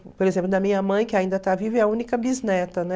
Por exemplo, da minha mãe, que ainda está viva, é a única bisneta, né?